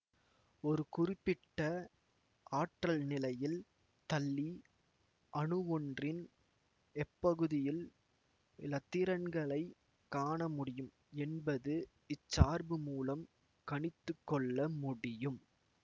ஒரு குறிப்பிட்ட ஆற்றல் நிலையில் தள்ளி அணுவொன்றின் எப்பகுதியில் இலத்திரன்களைக் காணமுடியும் என்பதை இச் சார்பு மூலம் கணித்துக்கொள்ள முடியும்